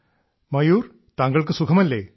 ശ്രീ മയൂർ താങ്കൾക്ക് സുഖമല്ലേ